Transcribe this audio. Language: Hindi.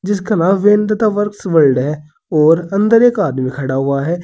और अंदर एक आदमी खड़ा हुआ है।